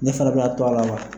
Ne fana bɛna to ala wa?